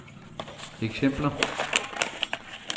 eksempler